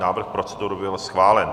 Návrh procedury byl schválen.